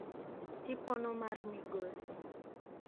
tipono mar migosi